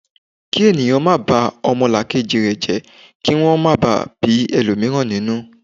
ki ènìyàn ma ba omolakeji je ki won máa ba bi elomiran ninu